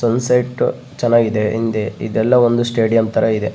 Sunset ಚೆನ್ನಾಗಿದೆ ಹಿಂದೆ ಇದೆಲ್ಲ ಒಂದು ಸ್ಟೇಡಿಯಮ್ ತರ ಇದೆ .